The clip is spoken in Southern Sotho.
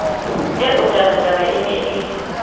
eo tabataba e ne e